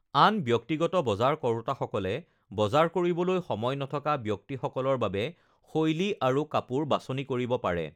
আন ব্যক্তিগত বজাৰ কৰোঁতাসকলে বজাৰ কৰিবলৈ সময় নথকা ব্যক্তিসকলৰ বাবে শৈলী আৰু কাপোৰ বাছনি কৰিব পাৰে৷